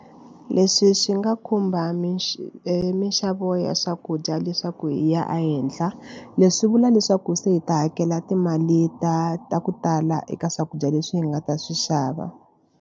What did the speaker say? Leswi swi nga khumba minxavo ya swakudya leswaku yi ya ehenhla leswi vula leswaku se hi ta hakela timali ta ta ku tala eka swakudya leswi hi nga ta swi xava.